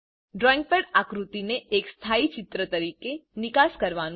drawing pad આકૃતિને એક સ્થાઈ ચિત્ર તરીકે નિકાસ કરવાનું